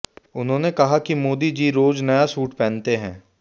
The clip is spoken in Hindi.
उन्होंने कहा कि मोदी जी रोज नया सूट पहनते हैं